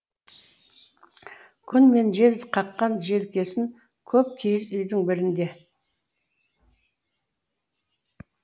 күн мен жел қаққан желкесін көп киіз үйдің бірінде